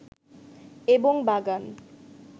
এবং বাগান